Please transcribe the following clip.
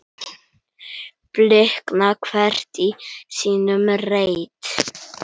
blikna hvert í sínum reit